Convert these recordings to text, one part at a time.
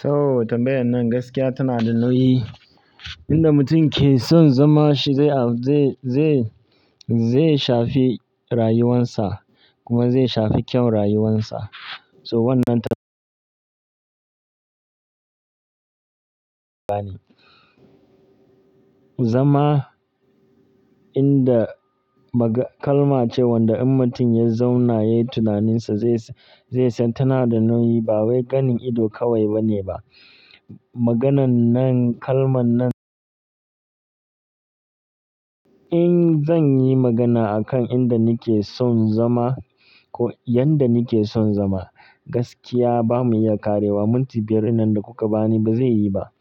So tambayar nan gaskiya tana da nauyi, inda mutum ke son zama shi zai, zai, zai shafe rayuwansa kuma zai shafe kyau rayuwansa. So wannan ta- bani. Zama inda kalma ce wanda in mutum ya zauna yayi tunaninsa zai, zai san tana da nauyi ba wai ganin ido kawai ba ne ba. Maganan nan, kalman nan-- in zan yi magana a kan inda ni ke son zama ko yadda ni ke son zama, gaskiya ba mu iya ƙarewa. Minti biyar wannan da kuka bani ba zai yi ba.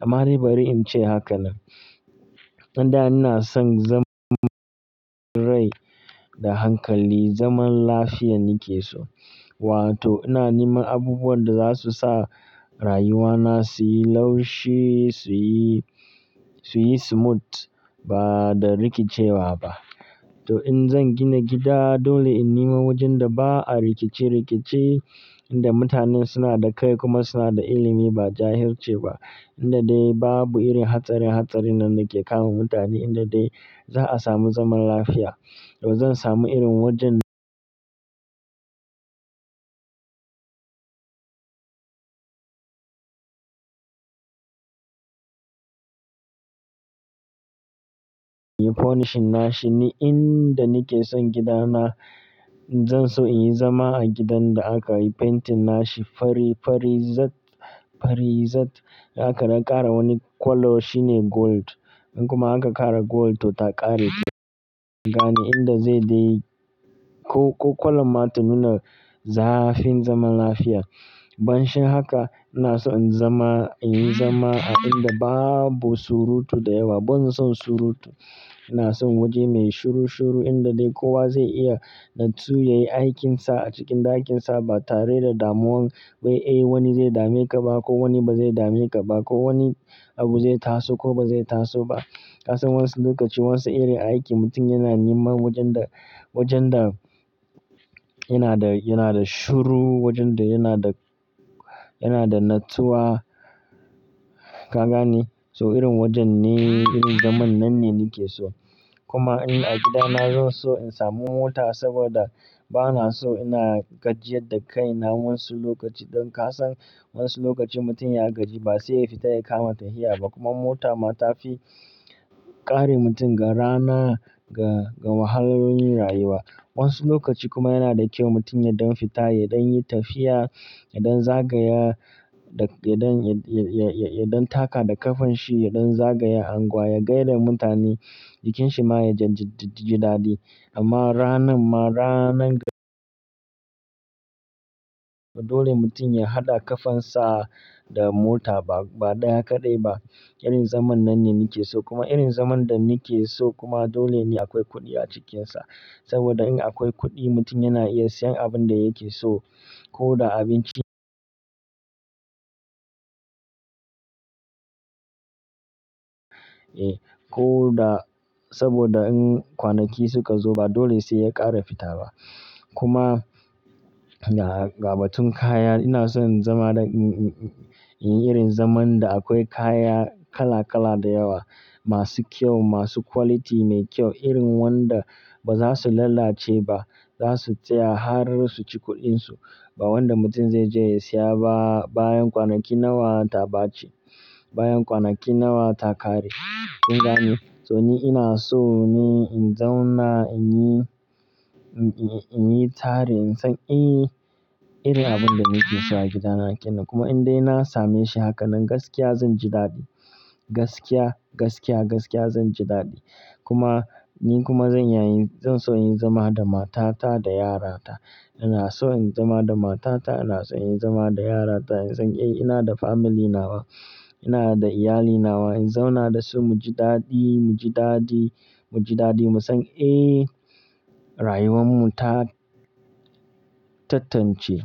Amma dai bari in ce haka nan. Inda ina son zaman rai da hankali, zaman lafiya ni ke so. Wato ina niman abubuwan da za su sa rayuwana su yi laushi, su yi, su yi smooth ba da rikicewa ba. To in zan gina gida, dole in nima wajen da ba a rikice-rikice, inda mutane suna da kai kuma suna da ilimi ba jahilci ba, inda dai ba bu irin hatsari-hatsari nan da ke kama mutane, inda dai za a samu zaman lafiya. To zan samu irin wajen- inyi furnishing nashi ni inda ni ke son gidana. Zan so in yi zama a gidan da aka yi painting nashi fari, farizat, farizat aka na ƙara wani colour shine gold. In kuma aka ƙara gold to ta ƙare gani inda zai dai ko, ko colour ma ta nuna zafin zaman lafiya. Banshin haka, ina so in zama, in yi zama a inda babu surutu da yawa. Ban son surutu. Ina son waje mai shuru shuru inda dai kowa zai iya natsu ya yi aikinsa a cikin ɗakinsa ba tare da damuwan, wai eh wani zai dame ka ba ko wani ba zai dame ka ba ko wani abu zai taso ko ba zai taso ba. Ka san wa'insu lokaci wa'insu irin aiki mutum yana neman wajen da, wajen da yana da, yana da shuru, wajen da yana da, yana da natsuwa, kagane? So irin wajen ne, irin zaman nan ne ni ke so. Kuma in a gida na zan so in samu mota saboda ba na so ina gajiya da kai na wasu lokaci. Don ka san wasu lokaci mutum ya gaji ba sai ya fita ya kama tahiya ba kuma mota ma ta fi ƙare mutum ga rana, ga, ga wahalolin rayuwa. Wasu lokaci kuma yana da kyau mutum ya ɗan fita, ya ɗan yi tafiya, ya ɗan zagaya da, ya ɗan, ya, ya, ya ɗan taka da ƙafanshi, ya ɗan zagaya angwa, ya gaida mutane, jikinsa ma ya jijiji-jidadi. Amma ranan ma, ranan- dole mutum ya haɗa ƙafansa da mota ba, ba dai kaɗai ba. Irin zaman nan ne ni ke so kuma irin zaman da ni ke so kuma dole ne akwai kuɗi a cikinsa. Saboda in akwai kuɗi mutum yana iya siyan abin da yake so. Ko da abinci- eh, ko da saboda in kwanaki suka zo ba dole sai ya ƙara fita ba. Kuma ga, ga batun kaya, ina so in zama da, in, in, in, in yi irin zaman da akwai kaya kala kala da yawa, masu kyau, masu quality mai kyau, irin wanda ba za su lalace ba. Za su tsaya har su ci kuɗinsu. Ba wanda mutum zai je ya siya ba bayan kwanaki nawa ta ɓace, bayan kwanaki nawa ta ƙare. Kun gane, to ni ina so ne in zauna, in yi, in, in, in yi tare, in san, eh, irin abin da ni ke so a gida na ke nan. Kuma indai na same shi haka nan gaskiya zan ji daɗi. Gaskiya, gaskiya, gaskiya zan ji daɗi. Kuma, ni kuma zan iya yin, zan so in zama da matata da yara ta. Ina so in zama da matata, ina so in zama da yarata, in san, eh, ina da family nawa, ina da iyali nawa. In zauna da su mu ji daɗi, mu ji daɗi, mu ji daɗi, mu san, eh, rayuwar mu ta tattance.